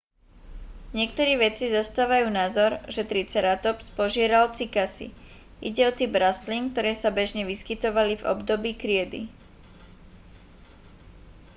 niektorí vedci zastávajú názor že triceratops požieral cykasy ide o typ rastlín ktoré sa bežne vyskytovali v období kriedy